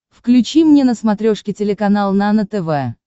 включи мне на смотрешке телеканал нано тв